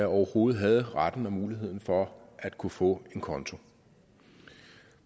overhovedet havde retten til og muligheden for at kunne få en konto